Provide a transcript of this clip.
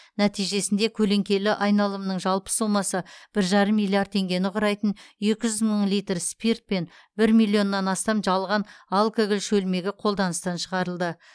нәтижесінде көлеңкелі айналымның жалпы сомасы бір жарым миллиард теңгені құрайтын екі жүз мың литр спирт пен бір миллион астам жалған алкоголь шөлмегі қолданыстан шығарылды